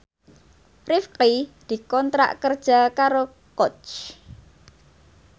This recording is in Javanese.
Rifqi dikontrak kerja karo Coach